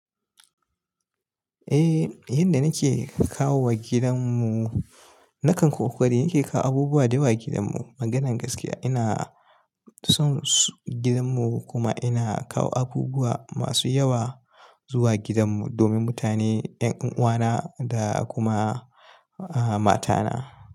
Eh, yanda nake kawo wa gidan mu, nakan kokara, nake kawo abubuwa dayawa gidan mu. Maganar gaskiya ina son gidan mu kuma ina kawo abubuwa masu yawa zuwa gidan mu domin mutane, 'yan uwana da kuma a-mata na.